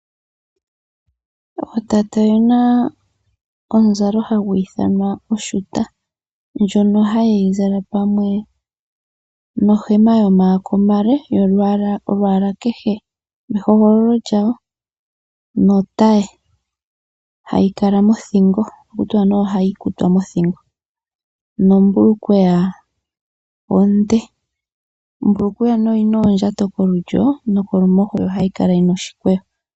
Ootate oyena omuzalo hagu ithanwa oshuta. Ndjono hayeyi zala pamwe nohema yomaako omale yolwaalwa kehe lwehogololo lyawo notaye hayi kala mothingo ohaku tiwa nee oya kutwa mothingo nombulukweya onde. Ombulukweya nee oyina oondja kolulyo nokolumoho yo ohayi kala yina oshikweyo.